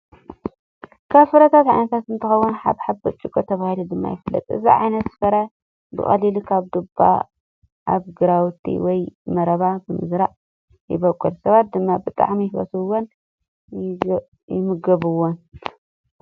ካብ ፍራምረ ዓይነታት እንትኸውን ሓባብ (ብርጭቅ) ተባሂሉ ድማ ይፍለጥ። እዚ ዓይነት ፍረ ብቀሊሉ ከም ድባ ኣብ ግራውቲ ወይ መረባ ብምዝራእ ይቦቅል። ሰባት ድማ ብጣዕሚ ይፈትውዎን ይምገብዎን።